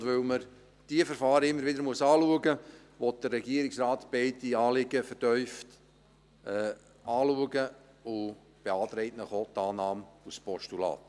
Und weil man diese Verfahren immer wieder anschauen muss, will der Regierungsrat beide Anliegen vertieft prüfen und beantragt Ihnen auch die Annahme als Postulat.